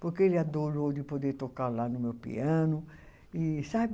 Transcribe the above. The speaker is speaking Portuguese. Porque ele adorou de poder tocar lá no meu piano e, sabe?